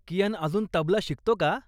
कियान अजून तबला शिकतो का?